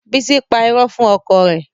Bísí pa irọ́ fún ọkọ rẹ̀